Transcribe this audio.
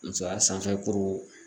Musoya sanfɛ kuru